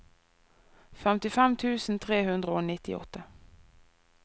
femtifem tusen tre hundre og nittiåtte